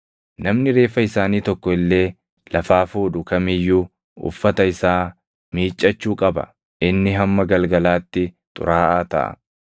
Namni reeffa isaanii tokko illee lafaa fuudhu kam iyyuu uffata isaa miiccachuu qaba; inni hamma galgalaatti xuraaʼaa taʼa.